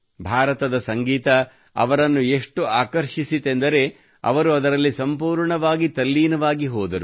ಭಾರತದ ಸಂಗೀತವು ಅವರನ್ನು ಎಷ್ಟು ಆಕರ್ಷಿಸಿತೆಂದರೆ ಅವರು ಅದರಲ್ಲಿ ಸಂಪೂರ್ಣವಾಗಿ ತಲ್ಲೀನವಾಗಿ ಹೋದರು